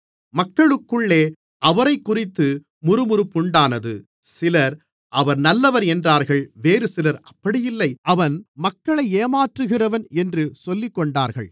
மக்களுக்குள்ளே அவரைக்குறித்து முறுமுறுப்புண்டானது சிலர் அவர் நல்லவர் என்றார்கள் வேறுசிலர் அப்படி இல்லை அவன் மக்களை ஏமாற்றுகிறவன் என்று சொல்லிக்கொண்டார்கள்